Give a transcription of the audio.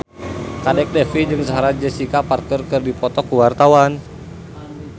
Kadek Devi jeung Sarah Jessica Parker keur dipoto ku wartawan